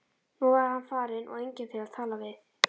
Nú var hann farinn og enginn til að tala við.